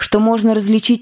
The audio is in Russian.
что можно различить